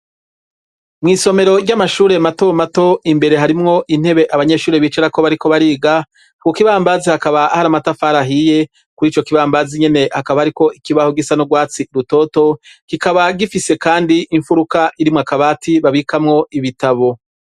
Mw'isomero ry'amashuri mato mato imbere harimwo intebe abanyeshuri bicarako bariko bariga, ku kibambazi hakaba hari amatafari ahiye, kuri ico kibambazi nyene hakaba hariko ikibaho gisa n' urwatsi rutoto, kikaba gifise kandi imfuruka irimwo akabati babikamwo ibitabo.